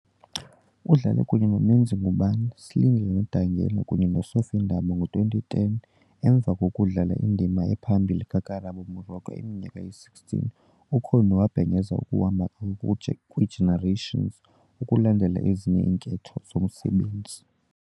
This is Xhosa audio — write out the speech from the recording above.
Udlale kunye noMenzi Ngubane, Slindile Nodangala kunye no Sophie Ndaba . Ngo-2010, emva kokudlala indima ephambili kaKarabo Moroka iminyaka eyi-16, uConnie wabhengeza ukuhamba kwakhe kwiGenerations "ukulandela ezinye iinketho zomsebenzi".